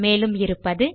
மேலும் இருப்பது